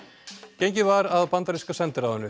gengið var að bandaríska sendiráðinu